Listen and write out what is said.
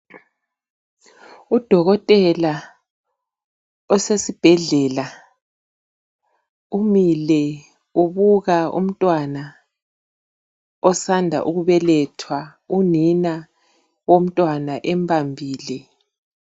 Udokotela osesibhedlela. Umile, ubuka umntwana, osanda ukubelethwa. Unina womntwana, embambile.